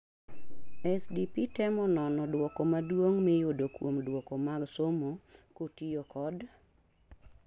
SDP temo nono dwoko maduong' miyudo kuom dwoko mag somo kotiyo kod